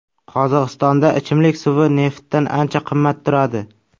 Qozog‘istonda ichimlik suvi neftdan ancha qimmat turadi.